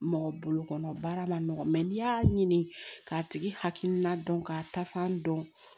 Mɔgɔ bolo kɔnɔ baara ma nɔgɔ n'i y'a ɲini k'a tigi hakilina dɔn ka tafan dɔn